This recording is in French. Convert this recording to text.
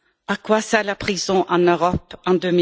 À quoi sert la prison en Europe, en